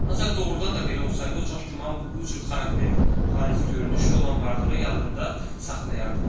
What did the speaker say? Ancaq doğrudan da belə olsaydı, o çox güman bu cür xarakterik xarici görünüşü olan varlığı yadında saxlayardı.